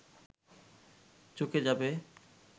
চুকে যাবে